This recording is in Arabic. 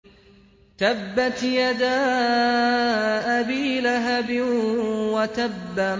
تَبَّتْ يَدَا أَبِي لَهَبٍ وَتَبَّ